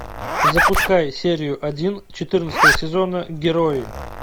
запускай серию один четырнадцатого сезона герои